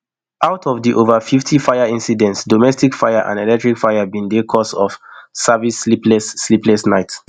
out of di ova fifty fire incidents domestic fires and electrical fires bin dey cause di service sleepless sleepless nights